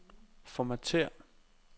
formatér